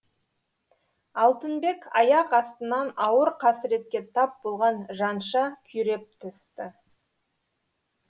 алтынбек аяқ астынан ауыр қасіретке тап болған жанша күйреп түсті